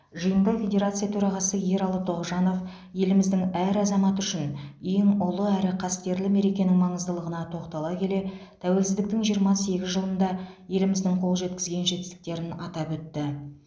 жиында федерация төрағасы ералы тоғжанов еліміздің әр азаматы үшін ең ұлы әрі қастерлі мерекенің маңыздылығына тоқтала келе тәуелсіздіктің жиырма сегіз жылында еліміздің қол жеткізген жетістіктерін атап өтті